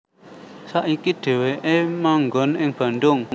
Saiki Dhéwéké manggon ing Bandung